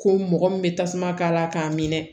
Ko mɔgɔ min bɛ tasuma k'a la k'a minɛ